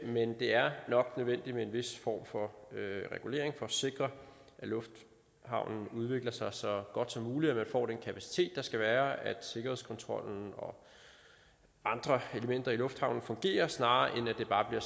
men det er nok nødvendigt med en vis form for regulering for at sikre at lufthavnen udvikler sig så godt som muligt at man får den kapacitet der skal være og at sikkerhedskontrollen og andre elementer i lufthavnen fungerer snarere end at det bare